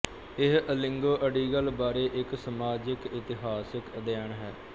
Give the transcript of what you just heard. ਇਹ ਇਲੰਗੋ ਅਡੀਗਲ ਬਾਰੇ ਇੱਕ ਸਮਾਜਿਕਇਤਿਹਾਸਕ ਅਧਿਐਨ ਹੈ